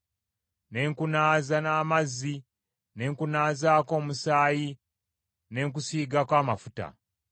“ ‘Ne nkunaaza n’amazzi, ne nkunaazaako omusaayi, ne nkusiigako amafuta.